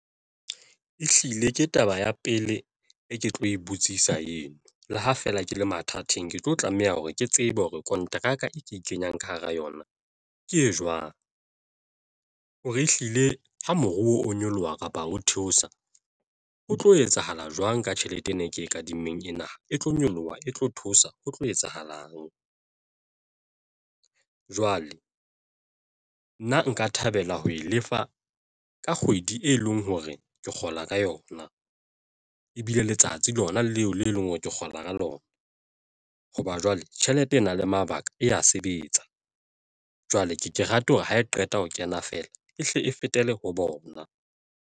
Ehlile ke taba ya pele e ke tlo e butsisa eno. Le ha feela ke le mathateng, ke tlo tlameha hore ke tsebe hore kontraka e ke ikenyang ka hara yona ke e jwang hore ehlile ha moruo o nyoloha kapa o theosa ho tlo etsahala jwang ka tjhelete ena e ke e kadimmeng ena, e tlo nyoloha, e tlo thusa ho tlo etsahalang. Jwale nna nka thabela ho e lefa ka kgwedi, e leng hore ke kgola ka yona ebile letsatsi lona leo le e leng hore ke kgola ka lona. Hoba jwale tjhelete e na le mabaka e ya sebetsa, jwale ke ke rate hore ha e qeta ho kena feela e hle e fetele ho bona.